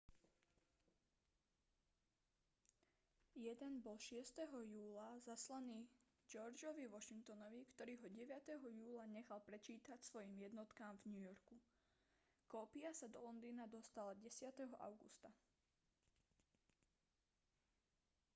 jeden bol 6. júla zaslaný georgeovi washingtonovi ktorý ho 9. júla nechal prečítať svojim jednotkám v new yorku kópia sa do londýna dostala 10. augusta